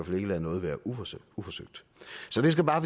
fald ikke lade noget været uforsøgt uforsøgt så det skal bare